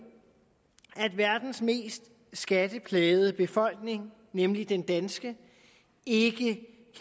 at verdens mest skatteplagede befolkning nemlig den danske ikke